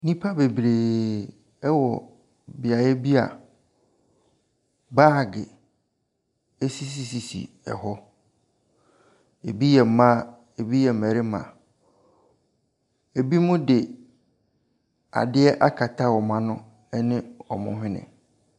Nnipa bebree wɔ beaeɛ bi a baage sisisisi hɔ. Ɛbi yɛ mmaa, ɛbi yɛ mmarima. Ɛbinom de adeɛ akata wɔn ano ne wɔn hwene.